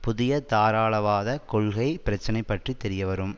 புதிய தாராளவாதக் கொள்கை பிரச்சினை பற்றி தெரியவரும்